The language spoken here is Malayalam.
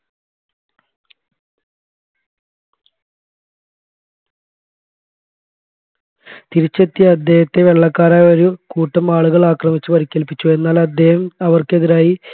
തിരിച്ചെത്തിയ അദ്ദേഹത്തെ വെള്ളക്കാരായ ഒരുകൂട്ടം ആളുകൾ ആക്രമിച്ച് പരിക്കേൽപ്പിച്ചു എന്നാൽ അദ്ദേഹം അവർക്കെതിരായി